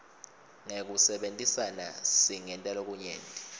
ngekusebentisana singenta lokunyenti